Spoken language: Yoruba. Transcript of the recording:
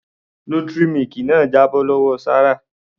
Nutri milk náà jábọ́ lọ́wọ Sarah.